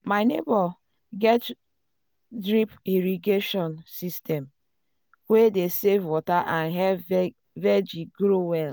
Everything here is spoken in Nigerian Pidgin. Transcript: my neighbor get drip irrigation system wey dey save water and help vegi grow well.